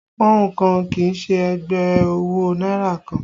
Pọ́ùn kan kì í ṣe ẹgbẹ́ owó náírà kan